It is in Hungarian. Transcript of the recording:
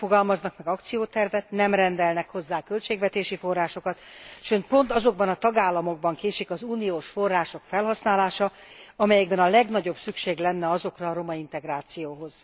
Nem fogalmaznak meg akciótervet, nem rendelnek hozzá költségvetési forrásokat, sőt pont azokban a tagállamokban késik az uniós források felhasználása, amelyekben a legnagyobb szükség lenne rájuk a romaintegrációhoz.